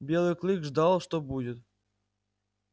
белый клык ждал что будет